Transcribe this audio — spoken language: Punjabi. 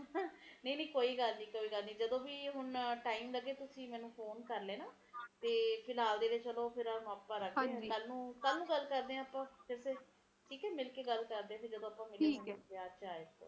ਸਿਧੇ ਨਾ ਸਹੀ ਪਾਰ ਕਹਿ ਨਾ ਕਹਿ ਇਸਦਾ ਆਪਸ ਚ ਤਾਲੁਕ ਤਾ ਰਹਿੰਦਾ ਹੈ ਐ ਤੁਸੀ ਦੇਖੋ ਤੋਂ ਅਏ ਨਾ ਜਿੰਨੇ ਅਬਾਦੀ ਵਧੇਗੀ ਓੰਨੇ ਘਰ ਚਾਹੀਦੇ ਰਹਿਣ ਵਾਸਤੇ ਉੱਨੇ ਪੇੜ ਕੱਟਣਗੇ ਉੱਨੇ ਪੇੜ ਘਟਣਗੇ ਪੇੜ ਘਟਣਗੇ ਤੇ ਹਰਿਆਲੀ ਘਟਊਗੀ